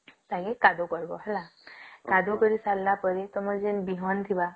ଯାଇ କାଦୁଅ କରିବ ହେଲା କାଦୁଅ କରିକି ସରିଲା ପରେ ତମର ଯେନ ବିହନ ଥିଲା !